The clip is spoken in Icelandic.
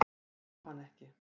Ég á hana ekki.